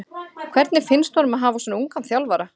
Hvernig finnst honum að hafa svona ungan þjálfara?